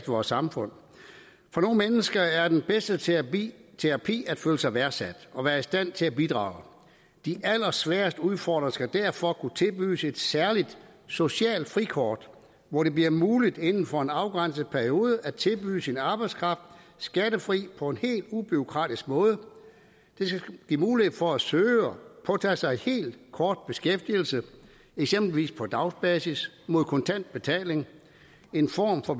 vores samfund for nogle mennesker er den bedste terapi terapi at føle sig værdsat og være i stand til at bidrage de allersværest udfordrede skal derfor kunne tilbydes et særligt socialt frikort hvor det bliver muligt inden for en afgrænset periode at tilbyde sin arbejdskraft skattefrit på en helt ubureaukratisk måde det skal give mulighed for at søge og påtage sig en helt kort beskæftigelse eksempelvis på dagsbasis mod kontant betaling en form for